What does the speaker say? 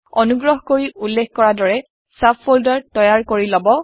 আনুগ্ৰহ কৰি উল্লেখ কৰা দৰে চাব ফল্ডাৰ তৈয়াৰ কৰি লব